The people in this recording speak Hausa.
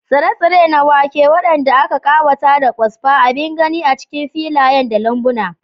Tsire-tsire na wake, waɗanda aka ƙawata da kwasfa, abin gani a cikin filayen da lambuna.